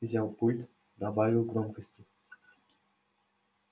взял пульт добавил громкости